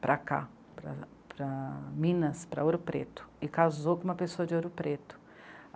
para cá, para, para Minas, para Ouro Preto, e casou com uma pessoa de Ouro Preto.